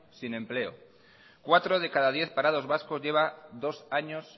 sin en empleo cuatro de cada diez parados vascos lleva dos años